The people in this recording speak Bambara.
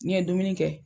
N'i ye dumuni kɛ